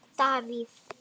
Davíð